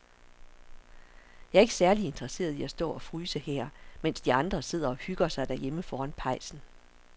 Jeg er ikke særlig interesseret i at stå og fryse her, mens de andre sidder og hygger sig derhjemme foran pejsen.